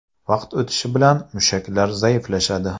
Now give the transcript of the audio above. Vaqt o‘tishi bilan mushaklar zaiflashadi.